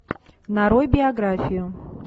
нарой биографию